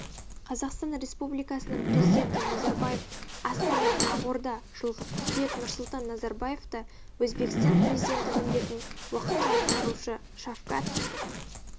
қазақстан республикасының президенті назарбаев астана ақорда жылғы қыркүйек нұрсұлтан назарбаевты өзбекстан президенті міндетін уақытша атқарушы шавкат